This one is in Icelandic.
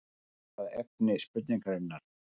Víkjum nú að efni spurningarinnar.